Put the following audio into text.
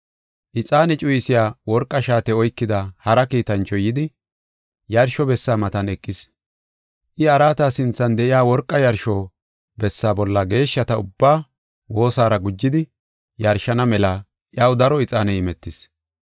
Ixaane cuyisiya worqa shaate oykida hara kiitanchoy yidi, yarsho bessa matan eqis. I araata sinthan de7iya worqa yarsho bessa bolla geeshshata ubbaa woosaara gujidi yarshana mela iyaw daro ixaaney imetis.